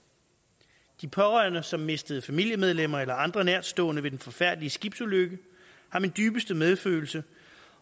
de pårørende som mistede familiemedlemmer eller andre nærtstående ved den forfærdelige skibsulykke har min dybeste medfølelse